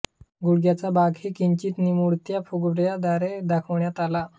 गुडघ्याचा भागही किंचित निमुळत्या फुगवट्याद्वारे दाखविण्यात आला आहे